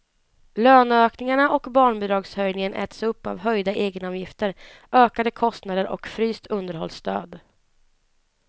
Löneökningarna och barnbidragshöjningen äts upp av höjda egenavgifter, ökade kostnader och fryst underhållsstöd.